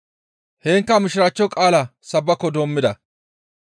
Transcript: Heenkka mishiraachcho qaalaa sabbako doommida.